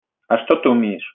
а что ты